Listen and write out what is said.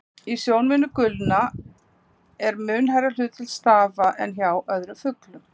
Í sjónhimnu uglna er mun hærra hlutfall stafa en hjá öðrum fuglum.